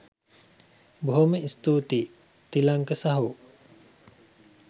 බොහොම ස්තූතියි තිලංක සහෝ